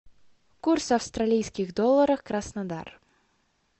курс австралийских долларов краснодар